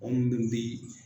Mɔgɔ minnu bi